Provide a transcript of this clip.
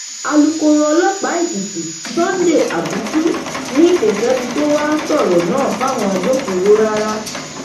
alūkkóró ọlọpàá èkìtì sunday abutu ni kò sẹni tó wàá sọrọ náà fáwọn agbófinró rárá